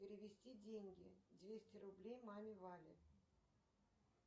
перевести деньги двести рублей маме вале